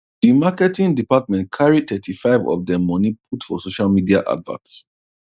di marketing department carry 35 of dem money put for social media advert